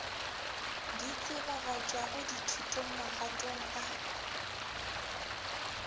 di tsebagatšwago thutong magatong ka